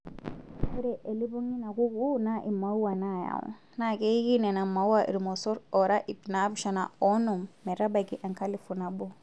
Ore elipong' eina kukuu naa imauwa naayau naa keiki Nena maauwa irmosorr oora ipnaapishana oonom metabaiki enkalifu nabo.